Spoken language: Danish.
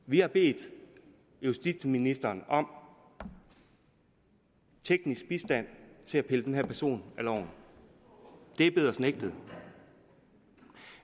vi har bedt justitsministeren om teknisk bistand til at pille den her person af loven det er blevet os nægtet